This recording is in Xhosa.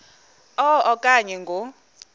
a okanye ngo